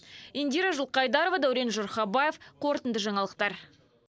индира жылқайдарова дәурен жұрхабаев қорытынды жаңалықтар